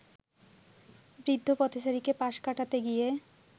বৃদ্ধ পথচারীকে পাশ কাটাতে গিয়ে